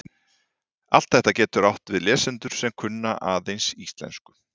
Allt þetta getur átt við lesendur sem kunna aðeins íslensku.